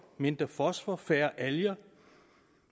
mindre fosfor færre alger